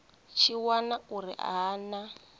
tshi wana uri ha na